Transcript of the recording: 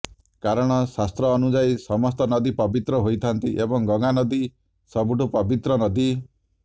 କାରଣ ଶାସ୍ତ୍ର ଅନୁଯାୟୀ ସମସ୍ତ ନଦୀ ପବିତ୍ର ହୋଇଥାନ୍ତି ଏବଂ ଗଙ୍ଗା ନଦୀ ସବୁଠୁ ପବିତ୍ର ନଦୀ